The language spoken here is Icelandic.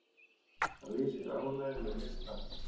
Hann lýsir ánægju með listann.